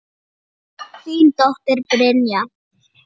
Þín dóttir, Brynja.